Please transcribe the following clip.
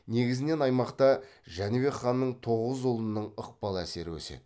негізінен аймақта жәнібек ханның тоғыз ұлының ықпал әсері өседі